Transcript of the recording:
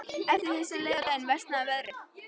Eftir því sem leið á daginn versnaði veðrið.